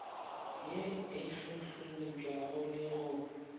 ye e hlohleletšago le go